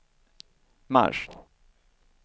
mars